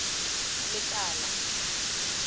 lekala